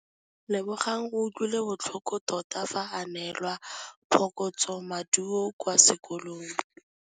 Lebogang o utlwile botlhoko tota fa a neelwa phokotsômaduô kwa sekolong.